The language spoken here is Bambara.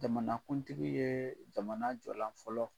Jamanakuntigi ye jamana jɔlan fɔlɔ